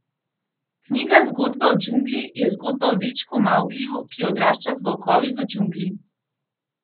Knjiga Zgodba o džungli je zgodba o dečku Mavgliju, ki odrašča z volkovi v džungli.